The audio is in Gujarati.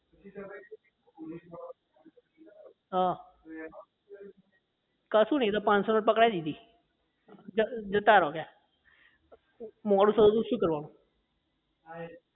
હા કશું નહીં એ તો પાંનસો ની નોટ પકડાઈ દીધી જતા રહો કે મોડું થતું તો શું કરવાનું